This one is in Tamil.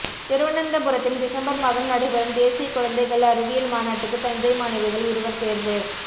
திருவனந்தபுரத்தில் டிசம்பர் மாதம் நடைபெறும் தேசிய குழந்தைகள் அறிவியல் மாநாட்டுக்கு தஞ்சை மாணவிகள் இருவர் தேர்வு